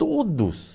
Todos.